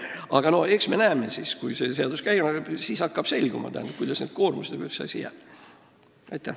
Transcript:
Aga eks siis, kui see seadus käima läheb, hakkab selguma, kuidas jäävad need koormused ja kõik muu.